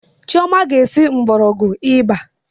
Chioma ga esi mgbọrọgwụ ịba